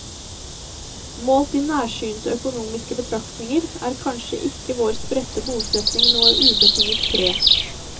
Målt i nærsynte økonomiske betraktninger er kanskje ikke vår spredte bosetning noe ubetinget pre.